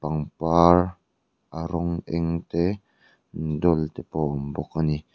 pangpar a rawng eng te dawl te pawh a awm bawk ani.